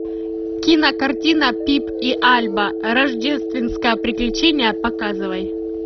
кинокартина пип и альба рождественское приключение показывай